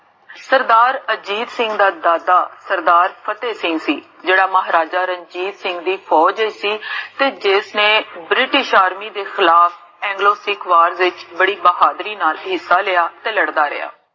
ਸਰਦਾਰ ਅਜੀਤ ਸਿੰਘ ਦਾ ਦਾਦਾ, ਸਰਦਾਰ ਫ਼ਤੇਹ ਸਿੰਘ ਸੀ, ਜੇਹੜਾ ਮਹਾਰਾਜਾ ਰਣਜੀਤ ਸਿੰਘ ਦੀ ਫੋਜ ਵਿਚ ਸੀ, ਤੇ ਜਿਸਨੇ british army ਦੇ ਖਿਲਾਫ਼ anglo sikh war ਵਿਚ ਬੜੀ ਬਹਾਦੁਰੀ ਨਾਲ ਹਿੱਸਾ ਲੇਆ, ਤੇ ਲੜਦਾ ਰਿਹਾ